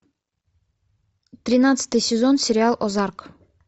тринадцатый сезон сериал озарк